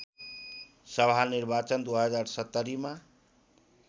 सभा निर्वाचन २०७० मा